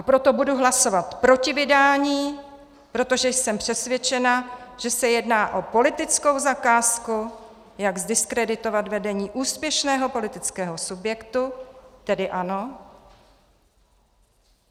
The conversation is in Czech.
A proto budu hlasovat proti vydání, protože jsem přesvědčena, že se jedná o politickou zakázku, jak zdiskreditovat vedení úspěšného politického subjektu, tedy ANO.